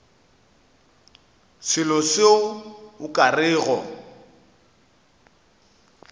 selo seo o ka rego